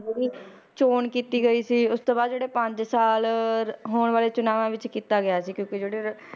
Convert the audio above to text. ਚੌਣ ਕੀਤੀ ਗਈ ਸੀ ਉਸ ਤੋਂ ਬਾਅਦ ਜਿਹੜੇ ਪੰਜ ਸਾਲ ਹੋਣ ਵਾਲੇ ਚੁਣਾਵਾਂ ਵਿੱਚ ਕੀਤਾ ਗਿਆ ਸੀ ਕਿਉਂਕਿ ਜਿਹੜੇ